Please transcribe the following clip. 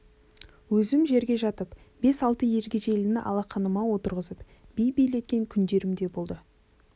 өзім жерге жатып бес-алты ергежейліні алақаныма отырғызып би билеткен күндерім де болды